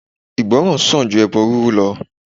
Ìgbọràn sàn ju ẹbọ rírú lọ